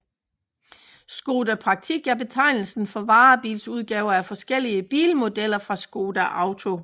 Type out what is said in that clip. Škoda Praktik er betegnelsen for varebilsudgaver af forskellige bilmodeller fra Škoda Auto